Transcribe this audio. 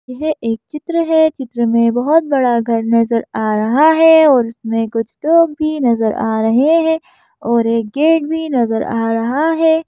यह एक चित्र है चित्र में बहोत बड़ा घर नजर आ रहा है और उसमें कुछ लोग भी नजर आ रहे हैं और एक गेट भी नजर आ रहा है।